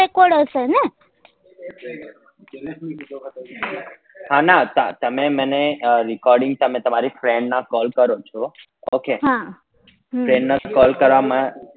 હા ના તમે મને recording તમે તમારી friend ના call કરો છો okay friend ના call કરવા માં